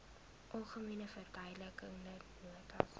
algemene verduidelikende nota